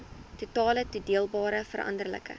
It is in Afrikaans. totale toedeelbare veranderlike